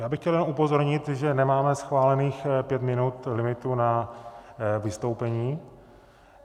Já bych chtěl jenom upozornit, že nemáme schválených pět minut limitu na vystoupení.